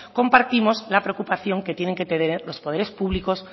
compartimos la preocupación que tienen que tener los poderes públicos